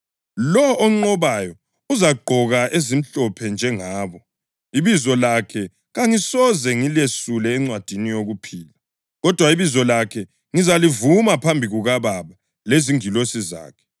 Lowo onqobayo uzagqoka ezimhlophe njengabo. Ibizo lakhe kangisoze ngilesule encwadini yokuphila, kodwa ibizo lakhe ngizalivuma phambi kukaBaba lezingilosi zakhe.